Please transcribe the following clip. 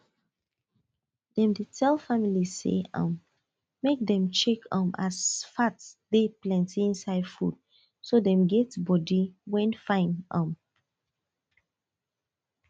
dem dey tell family say um make dem check um as fat de plenty inside food so dem get body wen fine um